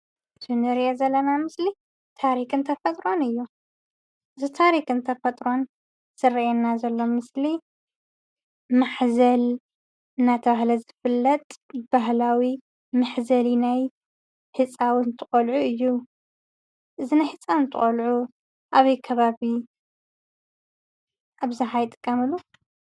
እዚ እንሪኦ ዘለና ምስሊ ታሪክን ተፈጥሮን እዩ፡፡ እዚ ታሪክን ተፈጥሮን ዝርአየና ዘሎ ምስሊ ማሕዘል እናተብሃለ ዝፍለጥ ባህላዊ መሕዘሊ ናይ ህፃውንቲ ቆልዑ እዩ፡፡ እዚ ናይ ህፃውንቲ ቆልዑ አበይ ከባቢ አብዝሓ ይጥቀምሉ?